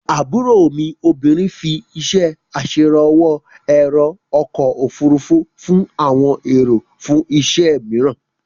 Àbúrò mi obìnrin fí iṣé aṣèrànwó ẹ̀rò ọkọ̀-ofurufú fún àwọn èrò fún iṣẹ́ mìíràn.